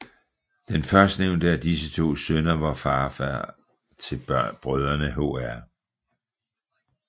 Den førstnævnte af disse to sønner var farfader til brødrene hr